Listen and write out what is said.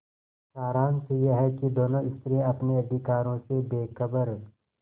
सारांश यह कि दोनों स्त्रियॉँ अपने अधिकारों से बेखबर